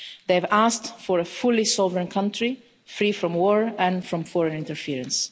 They have asked for a fully sovereign country, free from war and from foreign interference.